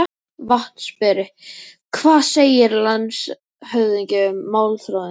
VATNSBERI: Hvað segir landshöfðingi um málþráðinn?